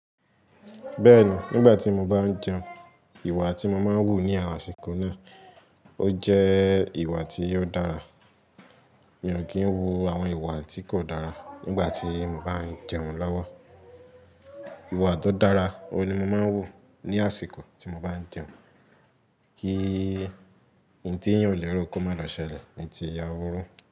Bẹ́ẹ̀ni, nígbà tí mo bá ń jẹun, ìwà tí mo máa ń wù ní àsìkò náà, ó jẹ́ ìwà tí ó dára. Mi ò kí ń wu àwọn ìwà tí kò dára nígbà tí mo bá ń jẹun lọ́wọ́. Ìwà tó dára ohun ni mo máa ń wù ní àsìkò tí mo bá ń jẹun kí ohun tin èèyàn ò lérò kọ máa lọ ṣẹlẹ̀ ní ti ìyàwó rún.